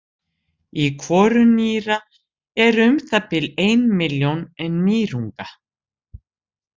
Í hvoru nýra eru um það bil ein milljón nýrunga.